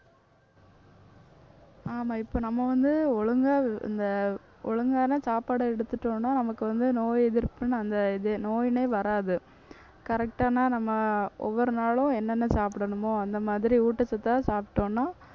ஆமா இப்ப நம்ம வந்து ஒழுங்கா இந்த ஒழுங்கான சாப்பாடு எடுத்துட்டோம்ன்னா நமக்கு வந்து நோய் எதிர்ப்புன்னு அந்த இது நோயினே வராது correct ஆனா நம்ம ஒவ்வொரு நாளும் என்னென்ன சாப்பிடணுமோ அந்த மாதிரி ஊட்டச்சத்தா சாப்பிட்டோன்னா